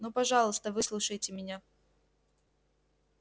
ну пожалуйста выслушайте меня